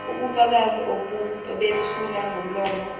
ubufakazi obethulwa ngomlomo